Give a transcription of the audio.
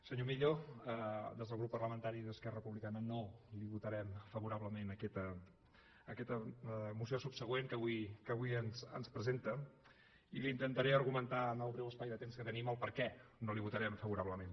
senyor millo des del grup parlamentari d’esquerra republicana no li votarem favorablement aquesta moció subsegüent que avui ens presenta i li intentaré argumentar en el breu espai de temps que tenim el perquè no la hi votarem favorablement